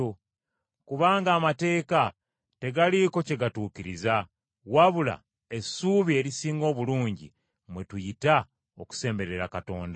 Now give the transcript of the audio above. kubanga amateeka tegaliiko kye gatuukiriza, wabula essubi erisinga obulungi, mwe tuyita okusemberera Katonda.